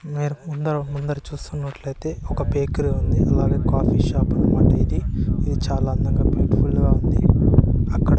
మీరు ముందర-ముందర చూసినట్లు అయితే ఒక బ్యాకరీ ఉంది అలాగే కాఫీ షాప్ అన్నమాట ఇది ఇది చాలా అందంగా బ్యూటిఫుల్ గా ఉంది. అక్కడ --